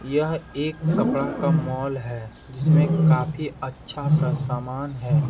यह एक कपड़ा का मॉल है जिसमें काफी अच्छा सा सामान है।